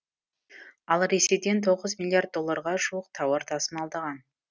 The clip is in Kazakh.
ал ресейден тоғыз миллиард долларға жуық тауар тасымалдаған